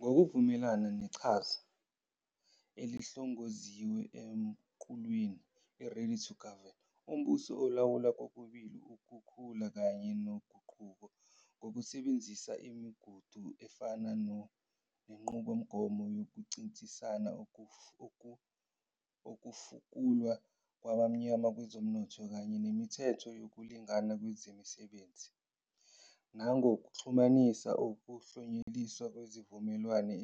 Ngokuvumelana neqhaza elihlongoziwe emqulwini i-'Ready to Govern', umbuso ulawula kokubili ukukhula kanye noguquko ngokusebenzisa imigudu efana nenqubomgomo yokuncintisana, ukufukulwa kwabamnyama kwezomnotho kanye nemithetho yokulingana kwezemisebenzi, nangokuxhumanisa ukuklonyeliswa kwezimvume